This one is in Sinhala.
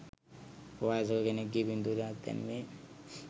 වයසක කෙනෙක්ගේ පින්තූරයක් දැම්මේ?